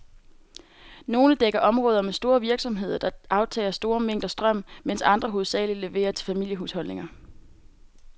Nogle dækker områder med store virksomheder, der aftager store mængder strøm, mens andre hovedsageligt leverer til familiehusholdninger.